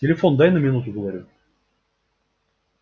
телефон дай на минуту говорю